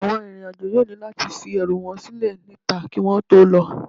Àwọn arìnrìn-àjò yóò ní láti fi ẹrù wọn sílẹ̀ níta kí wọ́n tó lọ